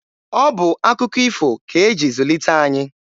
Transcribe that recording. Ọ bụ akụkọ ifo ka e ji zulite anyị.